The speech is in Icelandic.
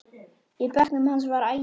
Í bekknum hans var agi.